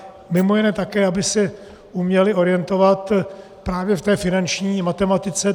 Mimo jiné také, aby se uměli orientovat právě v té finanční matematice.